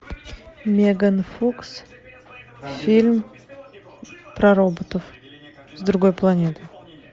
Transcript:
меган фокс фильм про роботов с другой планеты